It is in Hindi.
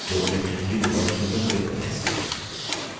तो electricity bill option पर click करें